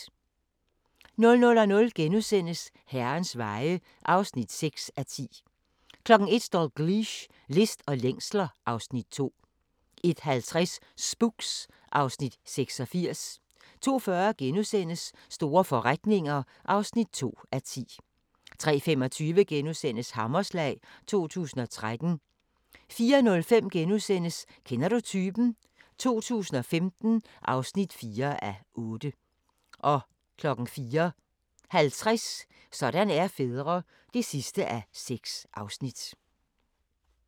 00:00: Herrens Veje (6:10)* 01:00: Dalgliesh: List og længsler (Afs. 2) 01:50: Spooks (Afs. 86) 02:40: Store forretninger (2:10)* 03:25: Hammerslag 2013 * 04:05: Kender du typen? 2015 (4:8)* 04:50: Sådan er fædre (6:6)